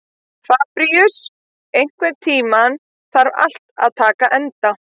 Fabrisíus, einhvern tímann þarf allt að taka enda.